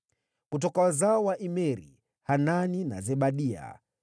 Kutoka wazao wa Imeri: Hanani na Zebadia.